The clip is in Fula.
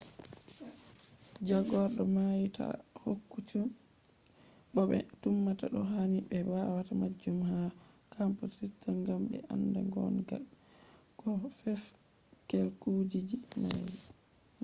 jagordo mai ta`i hukunci mo be tumata do. hani be wata majun ha computer system gam be anda gon ga ko fef`i kujiji mai